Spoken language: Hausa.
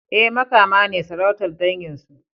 E, Makama ne sarautar dangin su.